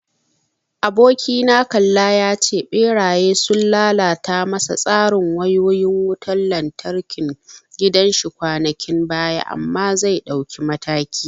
Abokina kalla ya ce Ɓera sun lalata masa tsarin wayoyin wutan lantarkin gidan shi kwanakin baya amma zai dauki mataki.